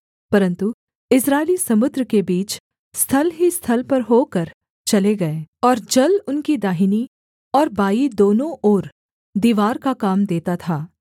परन्तु इस्राएली समुद्र के बीच स्थल ही स्थल पर होकर चले गए और जल उनकी दाहिनी और बाईं दोनों ओर दीवार का काम देता था